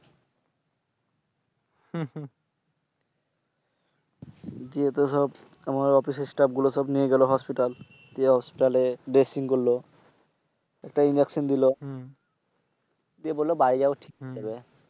গিয়েতো সব আমার office Stap গুলো সব নিয়ে গেল Hospital । গিয়ে Hospital এ Drasing করল। একটা Injuction দিল। দিয়ে বলল বাড়ি যাও ঠিক হয়ে যাবে।